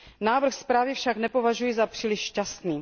Návrh zprávy však nepovažuji za příliš šťastný.